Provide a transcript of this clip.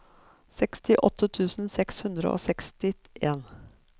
sekstiåtte tusen seks hundre og sekstien